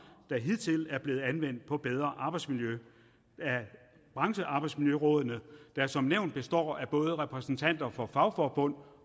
der hidtil er blevet anvendt på bedre arbejdsmiljø af branchearbejdsmiljørådene der som nævnt består af både repræsentanter for fagforbund